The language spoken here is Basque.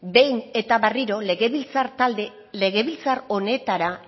behin eta berriro legebiltzar talde legebiltzar honetara